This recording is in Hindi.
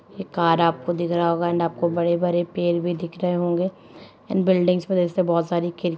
ये कार आपको दिख रहा होगा एंड आपको बड़े-बड़े पेड़ भी दिख रहे होंगे एंड बिल्डिंगस में जैसे बहोत सारी खिड़--